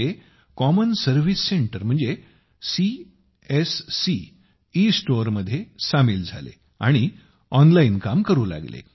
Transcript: ते common service center म्हणजेच CSC ईस्टोअरमध्ये सामील झाले आणि ऑनलाइन काम करू लागले